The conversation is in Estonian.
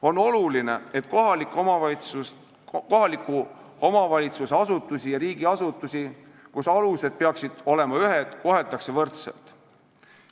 On oluline, et kohaliku omavalitsuse asutusi ja riigiasutusi, mis tegutsevad nagu ühtedel alustel, koheldakse võrdselt.